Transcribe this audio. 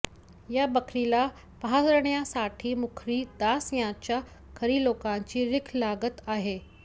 या बकरीला पाहण्यासाठी मुखरी दास यांच्या घरी लोकांची रिघ लागत आहे